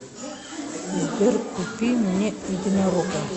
сбер купи мне единорога